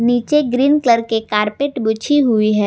नीचे green colour के carpet बिछी हुई है।